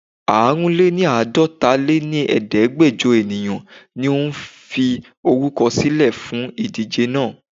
Àrùnléníàdọtaléníẹẹ̀ẹ́dẹ́gbẹjo ènìyàn ni ó fi orúkọ sílè fún ìdíje náà.